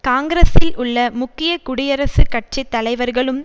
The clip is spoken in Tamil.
காங்கிரஸில் உள்ள முக்கிய குடியரசுக் கட்சி தலைவர்களும்